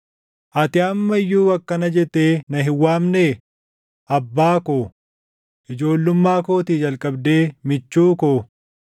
Ati amma iyyuu akkana jettee na hin waamnee? ‘Abbaa koo, ijoollummaa kootii jalqabdee michuu koo,